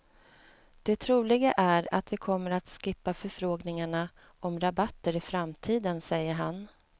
Det troliga är att vi kommer att skippa förfrågningarna om rabatter i framtiden, säger han.